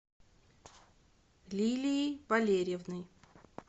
лилией валерьевной